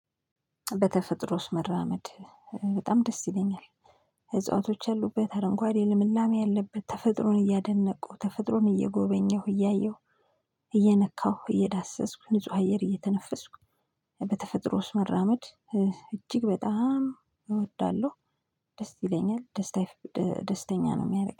በተፈጥሮ ውስጥ መራመድ በጣም ደስ ይለኛል። እጽዋቶች ያሉበት አረንጓዴ ልምላሜ ያለበት ተፈጥሮን እያደነቁ ተፈጥሮን እየጎበኘሁ እያየሁ እየነካሁ እየዳሰስኩ ንጹህ አየር እየተነፈስኩ። በተፈጥሮ ውስጥ መራመድ እጅግ በጣም እወዳለሁ። ደስ ይለኛል። ደስተኛ ነው የሚያደርግ